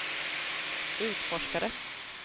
utforskare